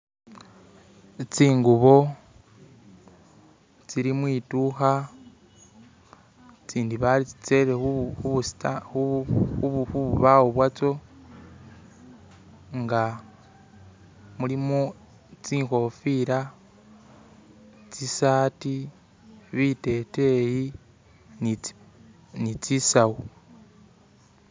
Tsingubo tsili mwitukha tsindi batsitele khu khubusta khu khububawo bwatso nga mulimo tsinhofila tsisaati, biteteyi ni tsi ni tsisawu